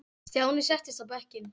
Stjáni settist á bekkinn.